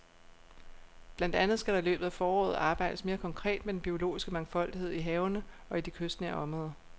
Blandt andet skal der i løbet af foråret arbejdes mere konkret med den biologiske mangfoldighed i havene og i de kystnære områder.